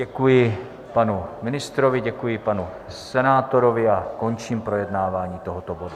Děkuji panu ministrovi, děkuji panu senátorovi a končím projednávání tohoto bodu.